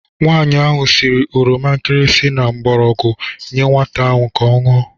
Nwaanyi ahụ siri oroma nkirisi na mgbọrọgwụ nyee nwata ahụ ka ọ ṅụọ.